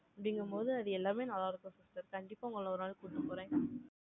அப்படிங்கும்போது, அது எல்லாமே நல்லா இருக்கும் sister கண்டிப்பா, உங்களை ஒரு நாளைக்கு கூட்டிட்டு போறேன்